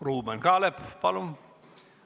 Ruuben Kaalep, palun!